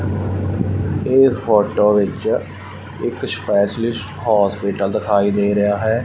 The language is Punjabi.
ਇਹ ਫੋਟੋ ਵਿੱਚ ਇੱਕ ਸਪੈਸ਼ਲਿਸਟ ਹੋਸਪੀਟਲ ਦਿਖਾਈ ਦੇ ਰਿਹਾ ਹੈ।